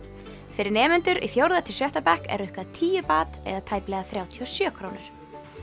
fyrir nemendur í fjórða til sjötta bekk er rukkað tíu eða tæplega þrjátíu og sjö krónur